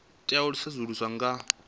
tea u sedzuluswa nga vhuḓalo